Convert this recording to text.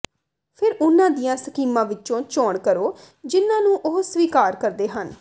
ਫਿਰ ਉਨ੍ਹਾਂ ਦੀਆਂ ਸਕੀਮਾਂ ਵਿੱਚੋਂ ਚੋਣ ਕਰੋ ਜਿਨ੍ਹਾਂ ਨੂੰ ਉਹ ਸਵੀਕਾਰ ਕਰਦੇ ਹਨ